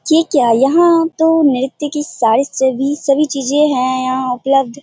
ये क्या यहां तो नृत्य की सारी सभी सभी चीजे है यहां उपलब्ध।